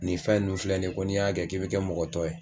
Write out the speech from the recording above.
Nin fɛn nun filɛ nin ye k'o n'i y'a kɛ k'i bɛ kɛ mɔgɔ tɔ ye